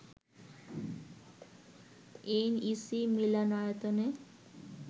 NEC মিলনায়তনে